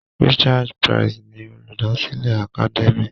Richard Price ni Olùdásílẹ̀ Academia.